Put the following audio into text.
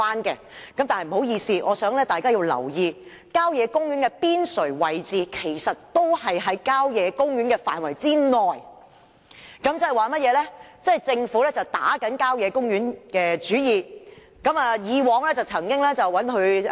然而，不好意思，我希望大家留意，郊野公園邊陲位置其實仍在郊野公園範圍之內，即政府正向郊野公園打主意。